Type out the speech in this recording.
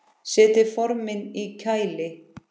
Setjið formin í kæli.